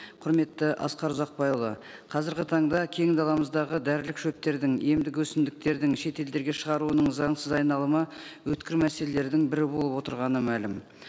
құрметті асқар ұзақбайұлы қазіргі таңда кең даламыздағы дәрілік шөптердің емдік өсімдіктердің шет елдерге шығаруының заңсыз айналымы өткір мәселелердің бірі болып отырғаны мәлім